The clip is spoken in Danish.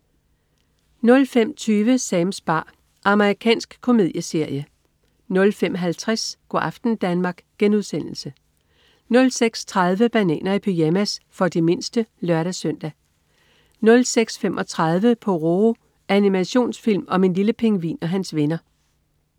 05.20 Sams bar. Amerikansk komedieserie 05.50 Go' aften Danmark* 06.30 Bananer i pyjamas. For de mindste (lør-søn) 06.35 Pororo. Animationsfilm om en lille pingvin og hans venner